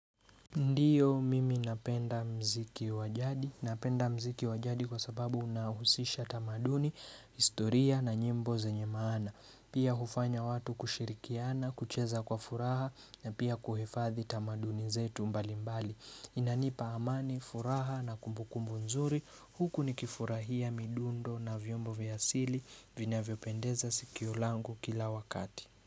Ndiyo mimi napenda mziki wajadi. Napenda muziki wa jadi kwa sababu unahusisha tamaduni, historia na nyimbo zenye maana. Pia hufanya watu kushirikiana, kucheza kwa furaha na pia kuhifadhi tamaduni zetu mbali mbali. Inanipa amani, furaha na kumbukumbu nzuri. Huku nikifurahia midundo na vyombo vya asili vinavyopendeza sikio langu kila wakati.